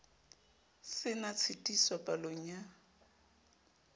se na tshitiso palong ya